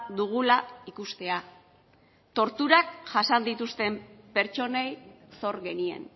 dugula ikustea torturak jasan dituzten pertsonei zor genien